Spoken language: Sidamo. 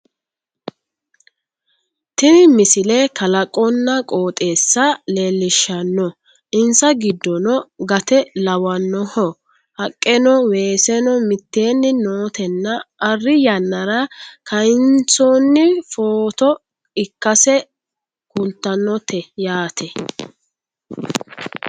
Tini misile kalaqonna qooxeessa leellishshanno insa giddono gate lawannoho haqqeno weeseno mitteenni nootenna arri yanara kayensoonni footo ikkase kultannote yaate